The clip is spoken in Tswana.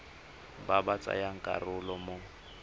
ba ba tsayang karolo mo